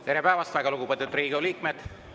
Tere päevast, lugupeetud Riigikogu liikmed!